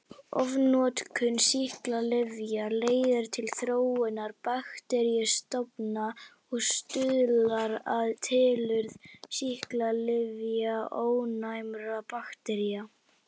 Ofnotkun sýklalyfja leiðir til þróunar bakteríustofna og stuðlar að tilurð sýklalyfjaónæmra baktería.